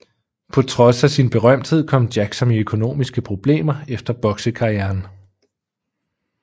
På trods af sin berømthed kom Jackson i økonomiske problemer efter boksekarrieren